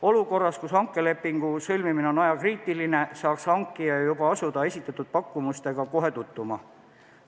Olukorras, kus hankelepingu sõlmimine on ajakriitiline, saaks hankija asuda esitatud pakkumustega kohe tutvuma.